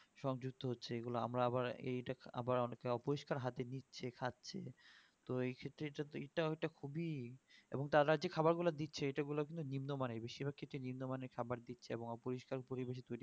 সংযুক্ত হচ্ছে এই গুলো আবার এটা আমরা আবার পরিষ্কার হাতে নিচ্ছে খাচ্ছে তো এই ক্ষেত্রে এটা ওটা খুবই এবং তারা যে খাবার গুলো দিচ্ছে এটা বলে কিন্তু নিম্ন মানের বেশির ক্ষেত্রে নিম্নমানের খাবার দিচ্ছে এবং অপরিষ্কার পরিবেশে